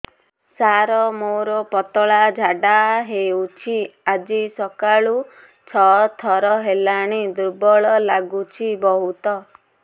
ସାର ମୋର ପତଳା ଝାଡା ହେଉଛି ଆଜି ସକାଳୁ ଛଅ ଥର ହେଲାଣି ଦୁର୍ବଳ ଲାଗୁଚି ବହୁତ